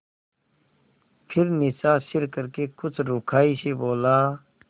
फिर नीचा सिर करके कुछ रूखाई से बोला